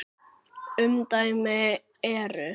Umdæmin eru